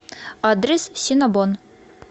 адрес синабон